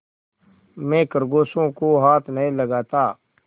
मैं खरगोशों को हाथ नहीं लगाता